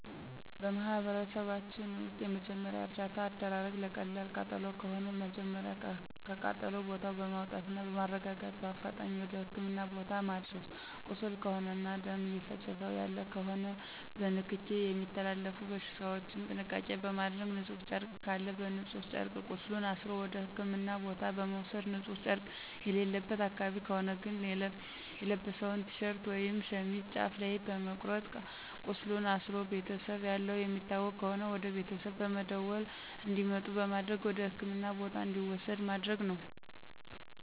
በማህበረሰባችን ውስጥ የመጀመሪያ እርዳታ አደራረግ ለቀላል ቃጠሎ ከሆነ መጀመሪያ ከቃጠሎ ቦታው በማውጣትና በማረጋጋት በአፋጣኝ ወደ ህክምና ቦታ ማድረስ ቁስል ከሆነና ደም እየፈሰሰው ያለ ከሆነ በንክኪ የሚተላለፉ በሽታዎችን ጥንቃቄ በማድረግ ንጹህ ጨርቅ ካለ በንጹህ ጨርቅ ቁስሉን አስሮ ወደ ህክምና ቦታ መውሰድ ንጺህ ጨረቅ የሌለበት አካባቢ ከሆነ ግን የለበሰውን ቲሸርት ወይም ሸሚዝ ጫፍ ላይ በመቁረጥ ቃስሉን አስሮ ቤተሰብ ያለው የሚታወቅ ከሆነ ወደቤተሰብ በመደወል እንዲመጡ በማድረግ ወደህክምና ቦታ እንዲወሰድ ማድረግ ነው።